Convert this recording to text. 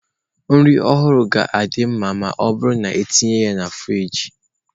Nri ọhụrụ ga-adị mma ma ọ bụrụ na etinyere ya na friji.